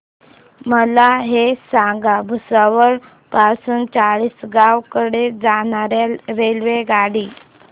मला हे सांगा भुसावळ पासून चाळीसगाव कडे जाणार्या रेल्वेगाडी